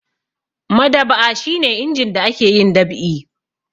Madab'a shi ne inji da ake yin dab'i.